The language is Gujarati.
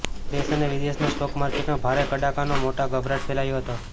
દેશ અને વિદેશના સ્ટોક માર્કેટમાં ભારે કડાકાનો મોટો ગભરાટ ફેલાયો હતો